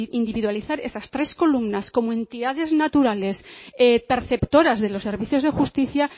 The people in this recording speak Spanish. individualizar esas tres columnas como entidades naturales perceptoras de los servicios de justicia